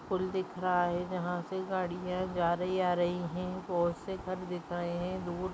पूल दिख रहा है जहाँ से गाड़ियां जा रही है आ रही हैं बोहोत से घर दिख रहे हैंदूर --